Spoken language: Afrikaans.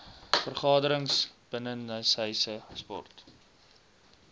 vergaderings binnenshuise sport